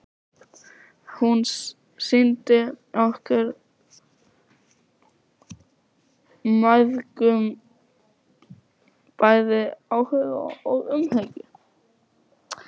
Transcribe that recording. Hún sýndi okkur mæðgum bæði áhuga og umhyggju.